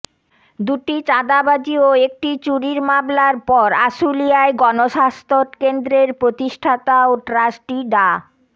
দুটি চাঁদাবাজি ও একটি চুরির মামলার পর আশুলিয়ায় গণস্বাস্থ্য কেন্দ্রের প্রতিষ্ঠাতা ও ট্রাস্টি ডা